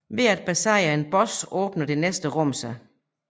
Ved at besejre en boss åbner det næste rum sig